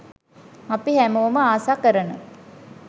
අපි හැමෝම ආස කරන